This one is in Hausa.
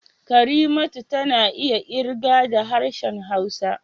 Karimatu tana iya ƙirga da harshen Hausa